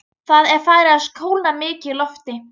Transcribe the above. Það er farið að kólna mikið í lofti.